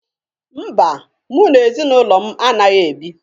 Mba, mụ na ezinụlọ m anaghị ebi